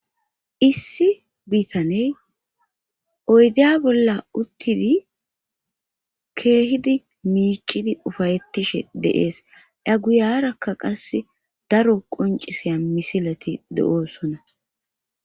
issi biitaney oydiya bolla uttidi keehidi miicidi ufayettishe deees a guyarakka qasse daro quncisiya misilati de7oosona